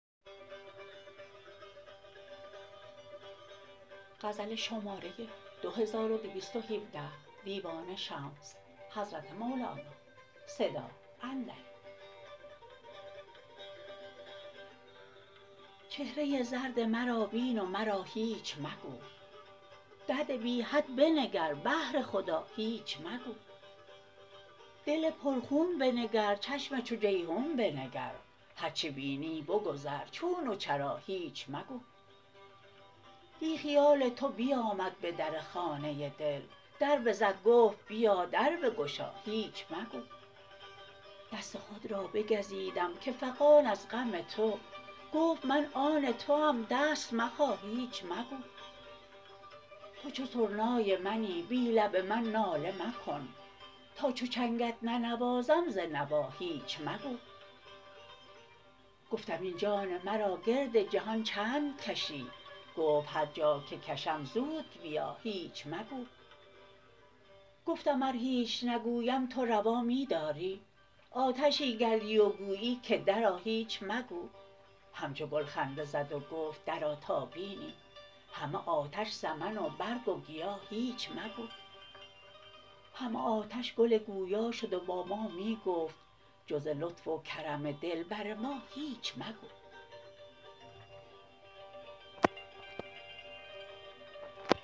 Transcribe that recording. چهره زرد مرا بین و مرا هیچ مگو درد بی حد بنگر بهر خدا هیچ مگو دل پرخون بنگر چشم چو جیحون بنگر هر چه بینی بگذر چون و چرا هیچ مگو دیٖ خیال تو بیامد به در خانه دل در بزد گفت بیا در بگشا هیچ مگو دست خود را بگزیدم که فغان از غم تو گفت من آن توام دست مخا هیچ مگو تو چو سرنای منی بی لب من ناله مکن تا چو چنگت ننوازم ز نوا هیچ مگو گفتم این جان مرا گرد جهان چند کشی گفت هر جا که کشم زود بیا هیچ مگو گفتم ار هیچ نگویم تو روا می داری آتشی گردی و گویی که درآ هیچ مگو همچو گل خنده زد و گفت درآ تا بینی همه آتش سمن و برگ و گیا هیچ مگو همه آتش گل گویا شد و با ما می گفت جز ز لطف و کرم دلبر ما هیچ مگو